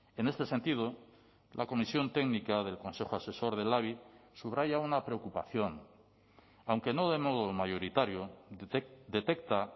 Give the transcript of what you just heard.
en este sentido la comisión técnica del consejo asesor del labi subraya una preocupación aunque no de modo mayoritario detecta